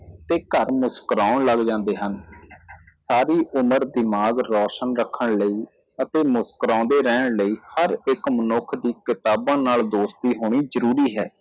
ਤੇ ਘਰ ਮੁਸ੍ਕੁਰਾਉਣ ਲੱਗ ਜਾਂਦੇ ਹਨ ਸਾਰੀ ਉਮਰ ਦਿਮਾਗ ਰੋਸ਼ਨ ਰੱਖਣ ਲਈ ਅਤੇ ਮੁਸਕੁਰਾਉਂਦੇ ਰਹਿਣ ਲਈ ਹਰ ਇੱਕ ਮਨੁੱਖ ਦੀ ਕਿਤਾਬਾਂ ਨਾਲ ਦੋਸਤੀ ਹੋਣੀ ਜ਼ਰੂਰੀ ਹੈ